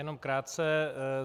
Jenom krátce.